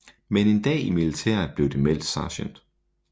Men en dag i militæret blev det meldt Sgt